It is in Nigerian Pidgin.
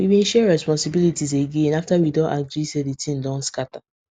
we been share responsibilities again after we don agree say the thing don scatter